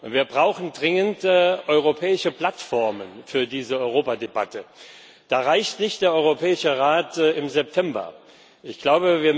Wir brauchen dringend europäische Plattformen für diese Europadebatte. Da reicht der Europäische Rat im September nicht aus.